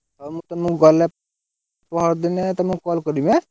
ହଉ ମୁଁ ତୁମକୁ ଗଲେ ପରଦିନେ ତମକୁ call କରିବି ଆଁ?